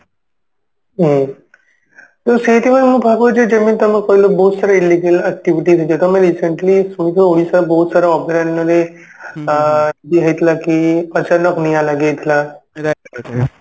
ହୁଁ ତ ସେଇଥି ପାଇଁ ମୁଁ ଭାବୁଛି ଯେମିତି ତମେ କହିଲ ବହୁତ ସାରା illegal activity ନିଜେ ତମେ recently ଶୁଣିଥିବ ଓଡିଶା ବହୁତ ସାରା ଅଭୟାରଣ୍ୟ ରେ ଆ ଇଏ ହେଇଥିଲା କି ଅଚାନକ ନିଆ ଲାଗିଯାଇଥିଲା ରାତିରେ